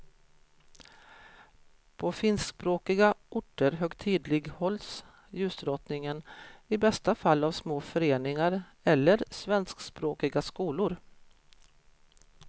På finskspråkiga orter högtidlighålls ljusdrottningen i bästa fall av små föreningar eller svenskspråkiga skolor.